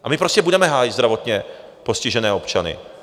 A my prostě budeme hájit zdravotně postižené občany.